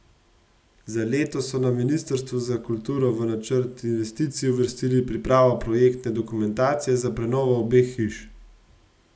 Za letos so na ministrstvu za kulturo v načrt investicij uvrstili pripravo projektne dokumentacije za prenovo obeh hiš.